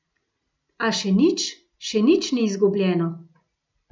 A še nič, še nič ni izgubljeno.